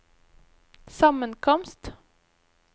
sammenkomst